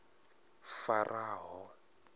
faraho